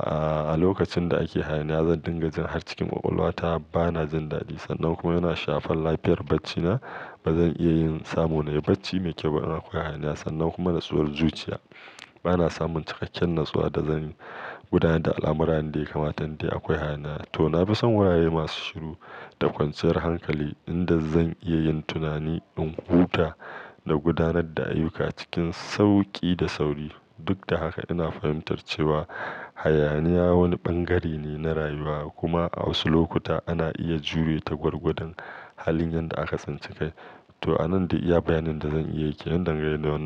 a lokacin da ake hayaniya zan dinga jin har cikin ƙwaƙwalwa ta bana jin daɗi. Sannan kuma yana shafar lafiyar bacci na. Ba zan iya yin samun na yi bacci mai kyau idan akwai hayaniya sannan kuma natsuwar zuciya. Bana samun cikakken natsuwa da zan gudanar da al'amurani da ya kamata in dai akwai hayaniya. To na fi son wurare masu shiru da kwanciyar hankali inda zan iya yin tunani, in huta da gudanar da ayyuka cikin sauƙi da sauri. Duk da haka ina fahimtar cewa hayaniya wani bangare ne na rayuwa kuma a wasu lokuta ana iya jure ta gwargwadon halin yadda aka cancanci. To a nan dai iya bayanin da zan iya yake yadda ke nan.